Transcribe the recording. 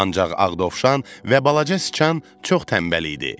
Ancaq Ağ dovşan və balaca sıçan çox tənbəl idi.